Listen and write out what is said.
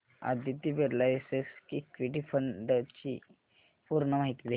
Aditya Birla SL equity fund D ची पूर्ण माहिती दे